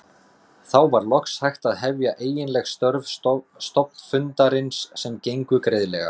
Þá var loks hægt að hefja eiginleg störf stofnfundarins sem gengu greiðlega.